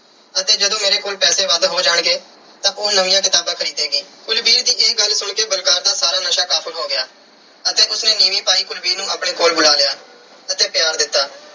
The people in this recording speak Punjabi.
ਅਤੇ ਜਦੋਂ ਮੇਰੇ ਕੋਲ ਪੈਸ ਵੱਧ ਹੋ ਜਾਣਗੇ, ਤਾਂ ਉਹ ਨਵੀਆਂ ਕਿਤਾਬਾਂ ਖਰੀਦੇਗੀ। ਕੁਲਵੀਰ ਦੀ ਇਹ ਗੱਲ ਸੁਣ ਕੇ ਬਲਕਾਰ ਦਾ ਸਾਰਾ ਨਸ਼ਾ ਕਾਫੂਰ ਹੋ ਗਿਆ ਅਤੇ ਉਸ ਨੇ ਨੀਵੀਂ ਪਾਈ ਕੁਲਵੀਰ ਨੂੰ ਆਪਣੇ ਕੋਲ ਬੁਲਾ ਲਿਆ ਅਤੇ ਪਿਆਰ ਦਿੱਤਾ।